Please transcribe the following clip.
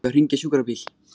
Á ég að hringja á sjúkrabíl?